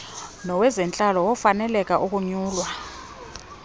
nowezentlalo wokufaneleka ukunyulwa